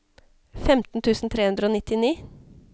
femten tusen tre hundre og nittini